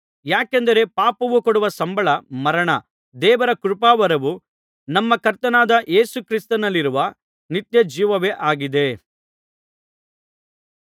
ಯಾಕೆಂದರೆ ಪಾಪವು ಕೊಡುವ ಸಂಬಳ ಮರಣ ದೇವರ ಕೃಪಾವರವು ನಮ್ಮ ಕರ್ತನಾದ ಯೇಸು ಕ್ರಿಸ್ತನಲ್ಲಿರುವ ನಿತ್ಯಜೀವವೇ ಆಗಿದೆ